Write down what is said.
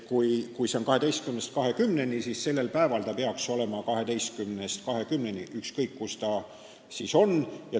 Kui see aeg on 12–20, siis sellel päeval peaks ta lahti olema 12–20, ükskõik, kus ta siis on.